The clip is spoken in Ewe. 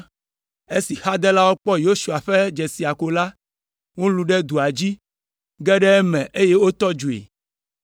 Esi xadelawo kpɔ Yosua ƒe dzesia ko la, wolũ ɖe dua dzi, ge ɖe eme eye wotɔ dzoe.